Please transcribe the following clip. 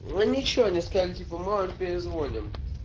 ну ничего они сказали типа мы вам перезвоним